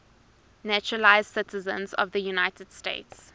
naturalized citizens of the united states